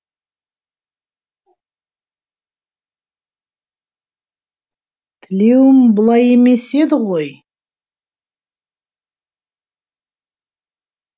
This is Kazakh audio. тілеуім бұлай емес еді ғой